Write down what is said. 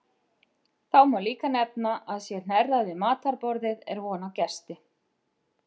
Þá má líka nefna að sé hnerrað við matarborðið er von á gesti.